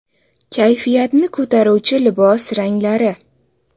Kayfiyatni ko‘taruvchi libos ranglari.